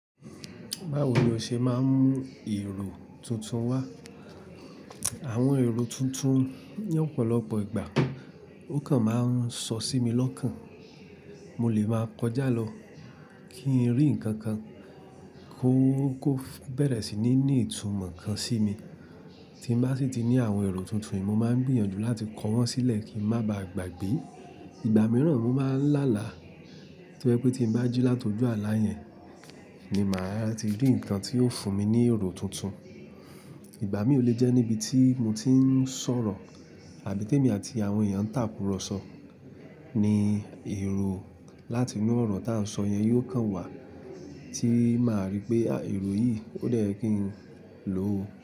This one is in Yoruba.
Báwo ni o ṣe máa ń mú èrò tuntun wá? Àwọn èrò tuntun ní ọ̀pọ̀lọpọ̀ ìgbà ó kan máa ń sọ sí mi lọ́kàn. Mo lè máa kọjá lọ kí n rí nǹkan kan kó bẹ̀rẹ̀ sí ní ní ìtumọ̀ kan sí mi. Tí bá sì ti ní àwọn èrò tuntun yìí, mo máa ń gbìyànjú láti kọ wọ́n sílẹ̀ kí n má ba à gbàgbé. Ìgbà mìíràn mo máa ń lá àlá, tí ó jẹ́ pé tí n bá jí láti ojú àlá yẹn ni màá ti rí nǹkan tí ó fún mi ní èrò tuntun. Ìgbà míì ó lè jẹ́ níbi tí mo ti ń sọ̀rọ̀ àbí tí èmi àti àwọn èèyàn ń tàkurọ̀sọ ni èrò láti inú ọ̀rọ̀ tá a sọ yẹn yóò kàn wá tí màá rí i pé èrò yìí ó dẹ̀ yẹ kọ́ n lò ó.